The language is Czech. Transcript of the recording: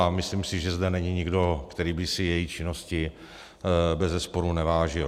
A myslím si, že zde není nikdo, který by si její činnosti beze sporu nevážil.